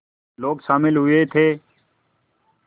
लोग शामिल हुए थे